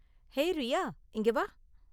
hey Riya, இங்க வா